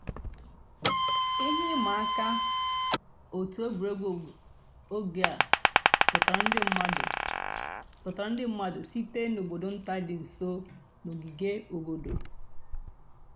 íhè ị̀mà àkà ọ̀tù ègwè́régwụ̀ ògè à dọ̀tárà ńdí mmàdụ̀ dọ̀tárà ńdí mmàdụ̀ sị̀tè n'àbọ̀dò̀ ńtà dì́ ǹsọ̀ nà ògìgè àbọ̀dò̀.